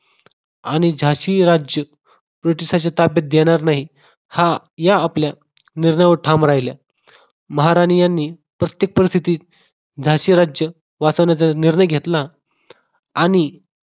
आणि झाशी हे राज्य ब्रिटिश ताब्यात देणार नाही हा या आपल्या निर्णयावर ठाम राहिला महाराणी यांनी परिस्थितीत झाशी राज्य वाचवण्याच्या निर्णय घेतला आणि